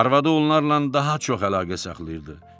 Arvadı onlarla daha çox əlaqə saxlayırdı.